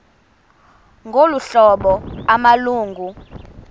ngolu hlobo amalungu